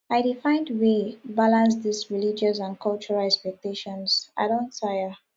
i dey find way balance dese religious and cultural expectations i don tire